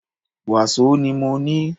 Wàsó ni mọ ní.